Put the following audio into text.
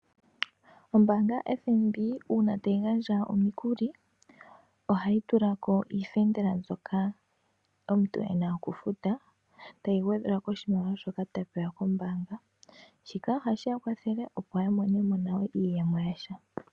Ombaanga yaFNB ngele tayi gandja iikulya ohayi tulako iifendela mbyoka omuntu e na okufuta tayi gwedhelwa koshimaliwa shoka a pewa kombaanga. Shika ohashi ya kwathele opo ya mone mo nayo iiyemo yasha